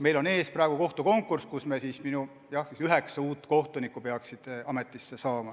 Meil on ees konkurss, mille tulemusena peaks ametisse astuma üheksa uut kohtunikku.